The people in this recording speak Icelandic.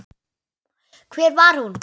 Hver var hún?